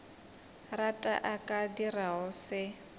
rata a ka dirago se